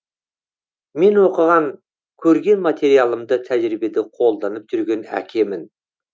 мен оқыған көрген материалымды тәжірибеде қолданып жүрген әкемін